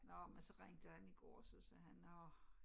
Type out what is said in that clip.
Nå men så ringede han i går så sagde han nå